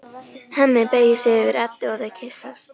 Hemmi beygir sig yfir Eddu og þau kyssast.